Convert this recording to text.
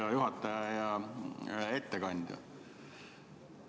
Hea juhataja ja ettekandja!